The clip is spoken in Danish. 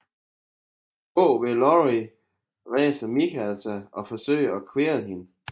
Bag Laurie rejser Michael sig og forsøger at kvæle hende